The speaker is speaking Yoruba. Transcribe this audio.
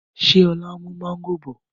Ṣé ọ̀la n mú mọ̀ngòrò bọ̀?